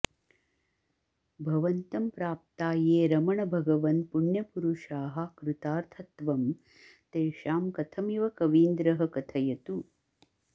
भवन्तं प्राप्ता ये रमणभगवन् पुण्यपुरुषाः कृतार्थत्वं तेषां कथमिव कवीन्द्रः कथयतु